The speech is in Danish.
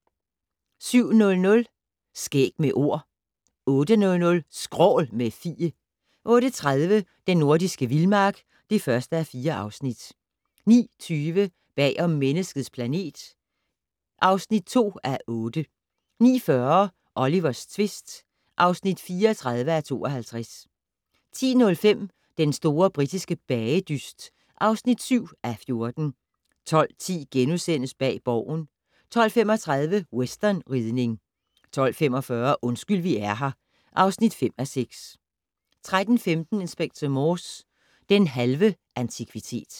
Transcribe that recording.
07:00: Skæg med Ord 08:00: Skrål - med Fie 08:30: Den nordiske vildmark (1:4) 09:20: Bag om Menneskets planet (2:8) 09:40: Olivers tvist (34:52) 10:05: Den store britiske bagedyst (7:14) 12:10: Bag Borgen * 12:35: Westernridning 12:45: Undskyld vi er her (5:6) 13:15: Inspector Morse: Den halve antikvitet